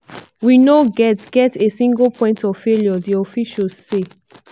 we no get get a single point of failure" di officials say.